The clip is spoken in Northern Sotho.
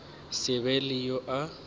se be le yo a